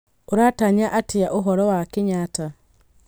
ũratanya atĩa ũhoro wa kenyatta